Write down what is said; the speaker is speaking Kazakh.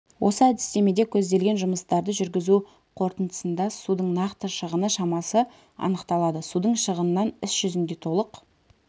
осы әдістемеде көзделген жұмыстарды жүргізу қорытындысында судың нақты шығыны шамасы анықталады судың шығынын іс жүзінде толық